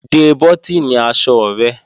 De bọ́tìnì aṣọ rẹ!